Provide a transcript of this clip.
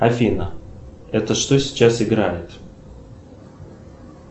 афина это что сейчас играет